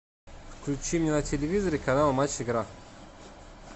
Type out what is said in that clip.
включи мне на телевизоре канал матч игра